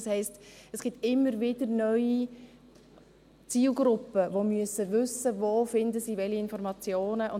Das heisst, es gibt immer wieder neue Zielgruppen, die wissen müssen, wo sie welche Informationen finden.